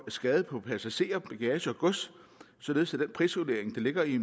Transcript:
skade på passagerer bagage og gods således at den prisvurdering der ligger i